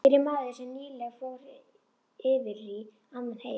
Hér er maður sem nýlega fór yfirí annan heim.